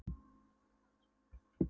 Ertu búin að hafa samband við lögregluna?